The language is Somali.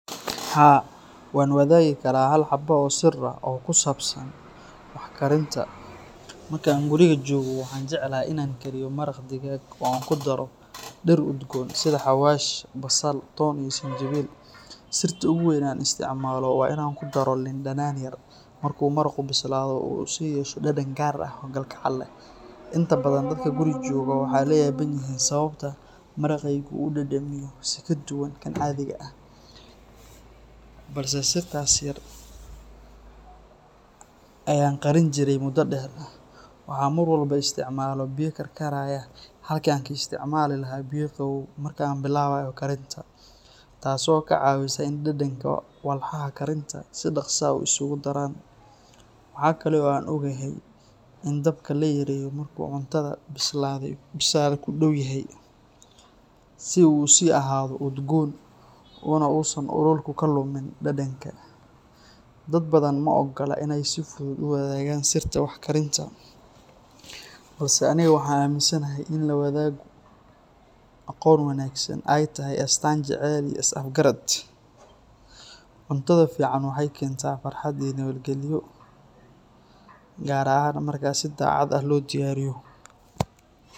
Haa, waan wadaagi karaa hal xabo oo sir ah oo ku saabsan wax karinta. Marka aan guriga joogo, waxaan jecelahay in aan kariyo maraq digaag oo aan ku daro dhir udgoon sida xawaash, basal, toon iyo sinjibiil. Sirta ugu weyn ee aan isticmaalo waa in aan ku daro liin dhanaan yar marka uu maraqu bislaado si uu u yeesho dhadhan gaar ah oo kalgacal leh. Inta badan dadka guriga joogaa waxay la yaaban yihiin sababta maraqaygu u dhadhamiyo si ka duwan kan caadiga ah, balse sirtaas yar ayaan qarin jiray muddo dheer. Waxaan mar walba isticmaalaa biyo karkaraya halkii aan ka isticmaali lahaa biyo qabow marka aan bilaabayo karinta, taasoo ka caawisa in dhadhanka walxaha karinta si dhakhso ah isugu daraan. Waxaa kale oo aan ogahay in dabka la yareeyo marka uu cuntada bislaaday ku dhow yahay si uu u sii ahaado udgoon unausan ololku ka lumin dhadhanka. Dad badan ma oggola inay si fudud u wadaagaan sirta wax karinta, balse aniga waxaan aaminsanahay in la wadaago aqoon wanaagsan ay tahay astaan jacayl iyo is afgarad. Cuntada fiican waxay keentaa farxad iyo nabadgelyo, gaar ahaan marka si daacad ah loo diyaariyo.